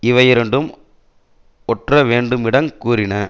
இவையிரண்டும் ஒற்றவேண்டுமிடங் கூறின